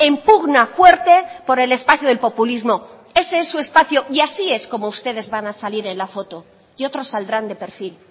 en pugna fuerte por el espacio del populismo ese es su espacio y así es como ustedes van a salir en la foto y otros saldrán de perfil